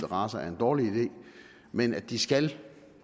racer er en dårlig idé men at de skal